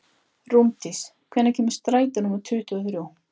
Rúndís, hvenær kemur strætó númer tuttugu og þrjú?